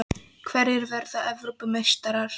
Hverjir verða Evrópumeistarar?